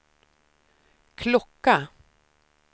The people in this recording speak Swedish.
klocka